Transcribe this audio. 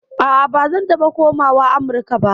A'a, ba zan taɓa komawa Amurka ba.